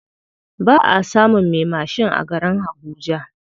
Baʼa samun me mashin a garin habuja.